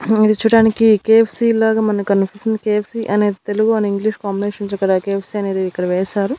ఉహూ ఇది చూడ్డానికి కె_యఫ్_సి లాగా మనకనిపిస్తుంది కె_యఫ్_సి అనేది తెలుగు అండ్ ఇంగ్లీష్ కాంబినేషన్స్ కల కె_యఫ్_సి అనేది ఇక్కడ వేశారు.